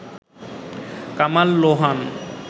Kamal Lohan